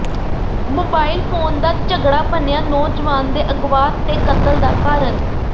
mobile phone ਦਾ ਝਗੜਾ ਬਣਿਆ ਨੌਜਵਾਨ ਦੇ ਅਗਵਾ ਤੇ ਕਤਲ ਦਾ ਕਾਰਨ